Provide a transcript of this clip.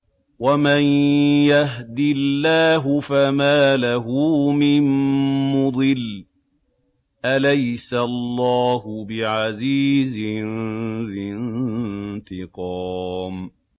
وَمَن يَهْدِ اللَّهُ فَمَا لَهُ مِن مُّضِلٍّ ۗ أَلَيْسَ اللَّهُ بِعَزِيزٍ ذِي انتِقَامٍ